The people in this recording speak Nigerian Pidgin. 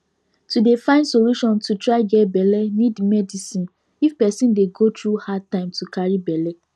to dey find solution to try get belle need medicine if person dey go through hard time to carry belle